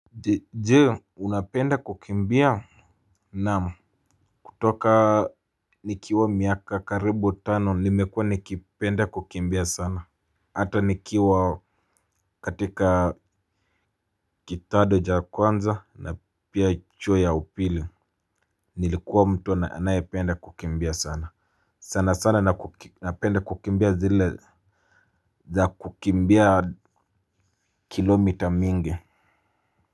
Jee unapenda kukimbia. Naam kutoka nikiwa miaka karibu tano nimekua nikipenda kukimbia sana. Hata nikiwa katika kidato cha kwanza na pia chuo ya upili nilikuwa mtu anaye penda kukimbia sana. Sana sana napenda kukimbia zile za kukimbia kilomita mingi.